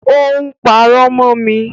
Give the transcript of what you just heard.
Ó ń pàrọ̀ mọ mi